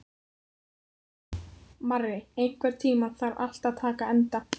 Marri, einhvern tímann þarf allt að taka enda.